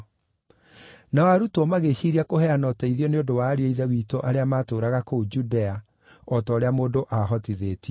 Nao arutwo, magĩĩciiria kũheana ũteithio nĩ ũndũ wa ariũ a Ithe witũ arĩa maatũũraga kũu Judea, o ta ũrĩa mũndũ aahotithĩtio.